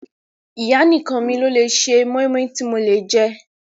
Ìyá nìkan mi lò lé ṣe mọ́ímọ́í tí mo lè jẹ́.